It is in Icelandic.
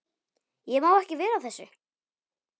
Ég má ekki vera að þessu.